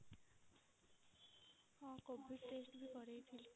ହଁ covid test ବି କରେଇଥିଲି।